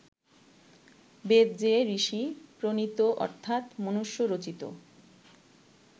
বেদ যে ঋষি-প্রণীত অর্থাৎ মনুষ্য-রচিত